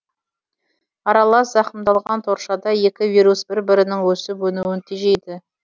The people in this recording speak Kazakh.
аралас зақымдалған торшада екі вирус бір бірінің өсіп өнуін тежейді